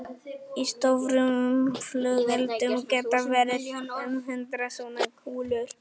Í stórum flugeldum geta verið um hundrað svona kúlur.